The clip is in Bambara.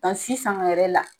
sisan yɛrɛ la